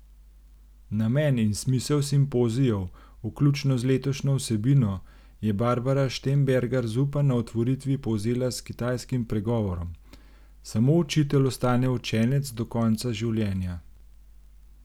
Namen in smisel simpozijev, vključno z letošnjo vsebino, je Barba Štembergar Zupan na otvoritvi povzela s kitajskim pregovorom: 'Samo učitelj ostane učenec do konca življenja.